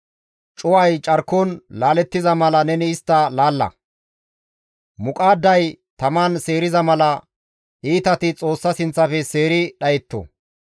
Cuway carkon laalettiza mala neni istta laalla; muqaadday taman seeriza mala, iitati Xoossa sinththafe seeri dhayetto.